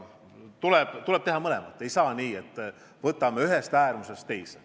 Tuleb teha mõlemat, ei saa nii, et läheme ühest äärmusest teise.